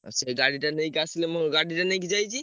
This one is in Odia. ସେ ଗାଡିଟା ନେଇକି ଆସିଲେ ମୋ ଗାଡିଟା ନେଇକି ଯାଇଛି।